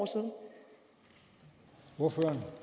to år